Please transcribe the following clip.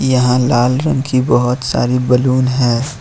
यहां लाल रंग की बहुत सारी बलून है।